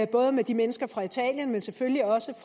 både de mennesker fra italien og selvfølgelig også